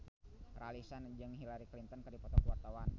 Raline Shah jeung Hillary Clinton keur dipoto ku wartawan